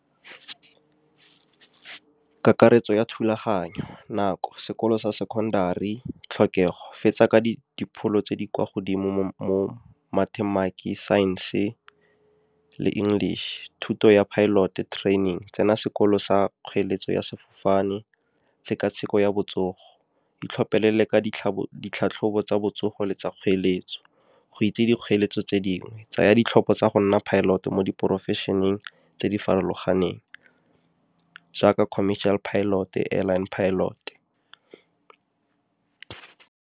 Kakaretso ya thulaganyo, nako, sekolo sa secondary, tlhokego, fetsa ka dipholo tse di kwa godimo science-e le English. Thuto ya pilot training, tsena sekolo sa kgoeletso ya sefofane, tshekatsheko ya botsogo, itlhophele le ka ditlhatlhobo tsa botsogo le tsa kgoeletso. Go itse dikgoeletso tse dingwe, tsaya ditlhopho tsa go nna pilot mo di-profession-eng tse di farologaneng jaaka commercial pilot-e, airline pilot-e.